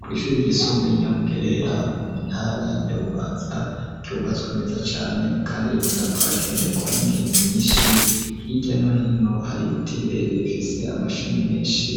Kw’ishuri ryisumbuye, ry'i Nyamugerera, mu ntara ya Bubanza, ryubatswe neza cane, kandi rikunda, kuhagenderwa, n'ingenzi nyinshi; hirya no hino, hari ibiti birebire, bifise amashami, menshi;